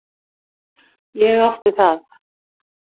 Ég átti það.